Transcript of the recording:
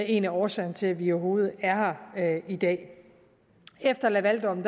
en af årsagerne til at vi overhovedet er her i dag efter lavaldommen